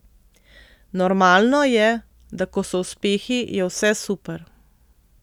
Normalno je, da ko so uspehi, je vse super.